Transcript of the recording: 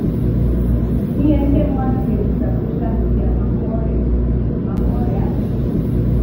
Ihe ndị mmadụ na-ekwu na Sọ́shàl mídíà maka ọríà maka ọríà a.